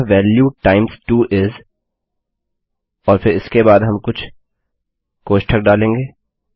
अतः value times 2 इस और फिर इसके बाद हम कुछ कोष्ठक डालेंगे